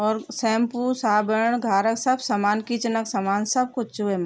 अर shampoo साबण घारक सब समान किचन क समान सब कुछ च वेमा।